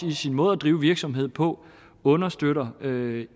i sin måde at drive virksomhed på understøtter en